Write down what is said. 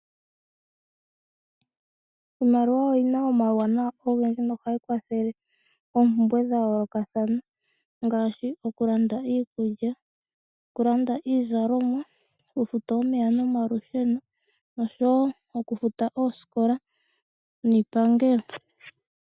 Iimaliwa oyi na omauwanawa ogendji nohayi kwathele oompumbwe dha yoolokathana ngaashi okulanda iikulya, okulanda iizalomwa, okufuta omeya nomalusheno noshowo okufuta oosikola niipangelo.